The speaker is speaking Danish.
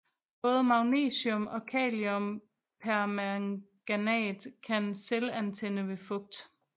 Både magnesium og Kaliumpermanganat kan selvantænde ved fugt